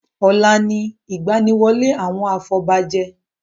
Ọ̀la ni ìgbaniwọlé àwọn afobajẹ.